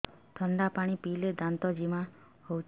ଥଣ୍ଡା ପାଣି ପିଇଲେ ଦାନ୍ତ ଜିମା ହଉଚି